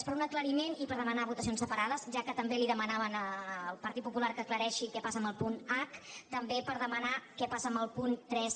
és per un aclariment i per dema·nar votacions separades ja que també li demanaven el partit popular que aclareixi què passa amb el punt h també per demanar què passa amb el punt tres